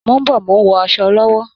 Mò ń bọ̀, mò ń wọ asọ lọ́wọ́